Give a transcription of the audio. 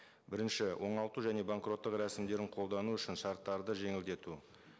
бірінші оңалту және банкроттық рәсімдерін қолдану үшін шарттарды жеңілдету